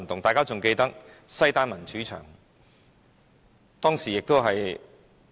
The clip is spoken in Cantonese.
大家也許記得西單民主牆。